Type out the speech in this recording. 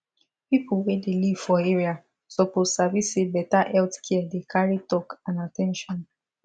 people wey dey live for area suppose sabi say better health care dey carry talk and at ten tion